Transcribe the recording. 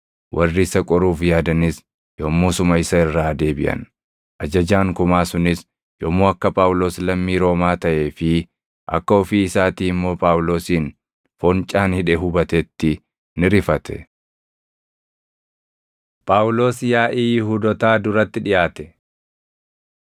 Warri isa qoruuf yaadanis yommusuma isa irraa deebiʼan; ajajaan kumaa sunis yommuu akka Phaawulos lammii Roomaa taʼee fi akka ofii isaatii immoo Phaawulosin foncaan hidhe hubatetti ni rifate. Phaawulos Yaaʼii Yihuudootaa Duratti Dhiʼaate